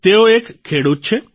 તેઓ એક ખેડૂત છે